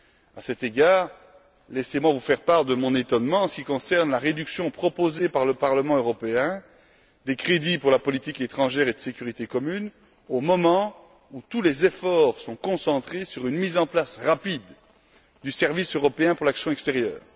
À cet égard, laissez moi vous faire part de mon étonnement en ce qui concerne la réduction, proposée par le Parlement européen, des crédits pour la politique étrangère et de sécurité commune au moment où tous les efforts sont concentrés sur une mise en place rapide du service européen pour l'action extérieure.